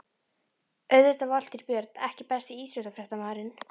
Auðvitað Valtýr Björn EKKI besti íþróttafréttamaðurinn?